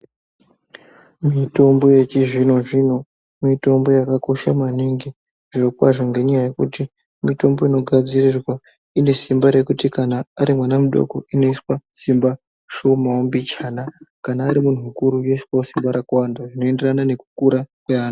Mitombo yechizvino-zvino, mitombo yakakosha maningi, zviro kwazvo ngenyaya yekuti mitombo inogadzirirwa ine simba rekuti kana ari mwana mudoko, inoiswa simba shomawo mbichana, kana ari muntu mukuru, rinoiswawo simba rakawanda zvinoenderana nekukura kweanhu.